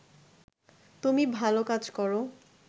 তুমি ভালো কাজ করো